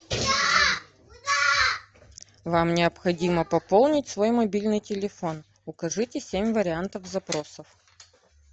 вам необходимо пополнить свой мобильный телефон укажите семь вариантов запросов